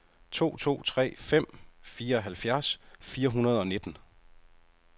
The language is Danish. to to tre fem fireoghalvfjerds fire hundrede og nitten